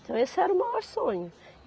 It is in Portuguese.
Então esse era o maior sonho.